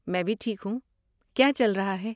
میں بھی ٹھیک ہوں۔ کیا چل رہا ہے؟